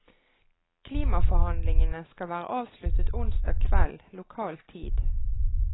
Klimaforhandlingene skal være avsluttet onsdag kveld lokal tid.